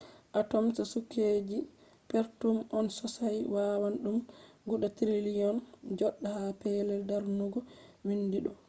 atoms kujeji perpetum on sosai wawan ɗum guda triliyon joɗa ha pellel darnugo windi ɗo